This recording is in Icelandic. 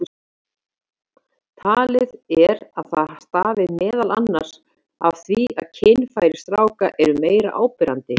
Talið er að það stafi meðal annars af því að kynfæri stráka eru meira áberandi.